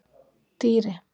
Dýri